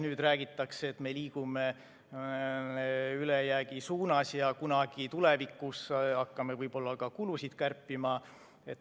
Nüüd räägitakse, et me liigume ülejäägi suunas ja kunagi tulevikus hakkame võib-olla ka kulusid kärpima.